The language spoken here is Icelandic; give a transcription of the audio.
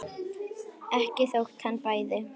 Ekki þótt hann bæði.